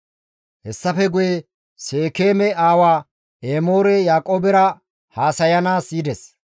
Hessafe guye Seekeeme aawa Emoorey Yaaqoobera haasayanaas yides.